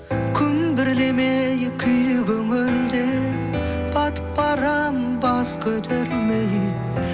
күнбірлемей күй көңілден батып барам бас көтермей